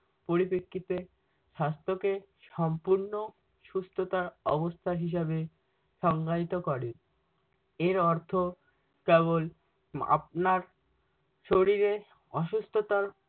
পরিপ্রেক্ষিতে স্বাস্থকে সম্পূর্ণ সুস্থতা অবস্থা হিসাবে সংজ্ঞায়িত করে। এর অর্থ কেবল আপনার শরীরে অসুস্থতার